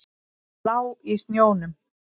Hún lá í snjónum.